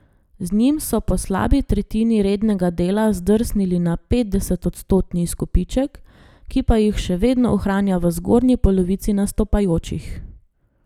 Z njim so po slabi tretjini rednega dela zdrsnili na petdesetodstotni izkupiček, ki pa jih še vedno ohranja v zgornji polovici nastopajočih.